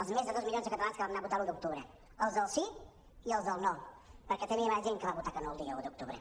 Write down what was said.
els més de dos milions de catalans que vam anar a votar l’un d’octubre els del sí i els del no perquè també va haver hi gent que va votar que no el dia un d’octubre